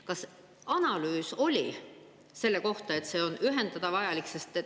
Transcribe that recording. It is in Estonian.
Kas oli analüüs selle kohta, et see ühendamine on vajalik?